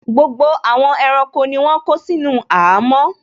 Gbogbo àwọn ẹranko ni wọ́n kó sínú àhámọ́